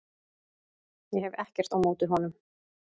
Ég hef ekkert á móti honum.